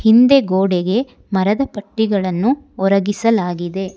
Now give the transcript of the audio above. ಹಿಂದೆ ಗೋಡೆಗೆ ಮರದ ಪಟ್ಟಿಗಳನ್ನು ಒರಗಿಸಲಾಗಿದೆ.